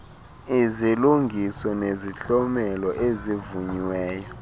izilungiso nezihlomelo ezivunyiweyo